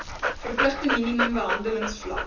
verpligte minimum behandelingsvlak